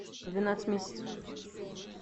двенадцать месяцев